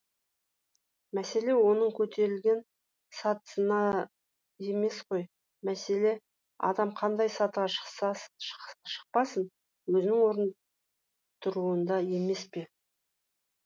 мәселе оның көтерілген сатысына емес қой мәселе адам қандай сатыға шықпасын өзінің орнында тұруында емес пе